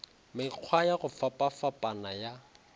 mekgwa ya go fapafapana ya